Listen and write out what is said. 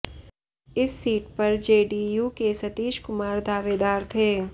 इस सीट पर जेडीयू के सतीश कुमार दावेदार थे